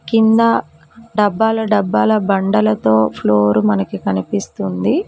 కింద డబ్బాల డబ్బాల బండలతో ఫ్లోర్ మనకి కనిపిస్తుంది.